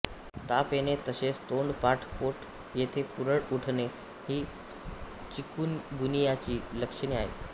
ताप येणे तसेच तोंड पाठ पोट येथे पुरळ उठणे ही चिकुनगुनियाची लक्षणे आहेत